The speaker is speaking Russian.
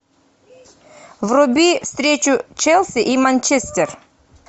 вруби встречу челси и манчестер